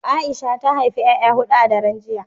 Aisha ta haifi 'ya'ya hudu a daren jiya